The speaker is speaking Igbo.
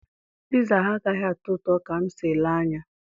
Piza ha agaghị atọ ụtọ ka m si ele anya.